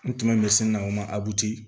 N tun bɛ sin na o ma abuti